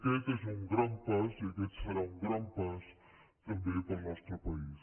aquest és un gran pas i aquest serà un gran pas també per al nostre país